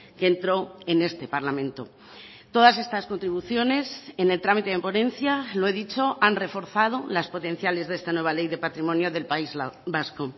que entró en este parlamento todas estas contribuciones en el trámite de ponencia lo he dicho han reforzado las potenciales de esta nueva ley de patrimonio del país vasco